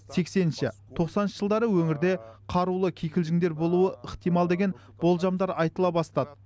сексенінші тоқсаныншы жылдары өңірде қарулы кикілжіңдер болуы ықтимал деген болжамдар айтыла бастады